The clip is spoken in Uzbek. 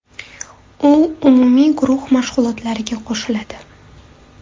U umumiy guruh mashg‘ulotlariga qo‘shiladi.